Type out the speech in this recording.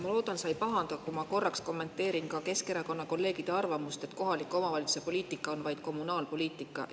Ma loodan, et sa ei pahanda, kui ma korra kommenteerin Keskerakonda kuuluvate kolleegide arvamust, et kohaliku omavalitsuse poliitika on vaid kommunaalpoliitika.